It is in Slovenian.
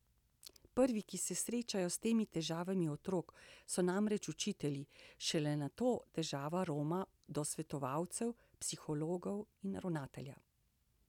Prvi, ki se srečajo s temi težavami otrok, so namreč učitelji, šele nato težava roma do svetovalcev, psihologov, ravnatelja.